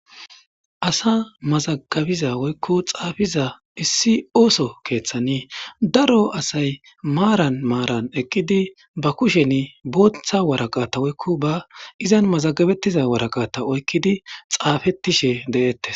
Asa mazagabiza woykko xaafiza issi ooso keeththani daro asay maaran maaran ekqidi ba kusheni booththa waraqata woykko ba izan mazagabettiza waraqata oykkidi xaafettishe de7eettes.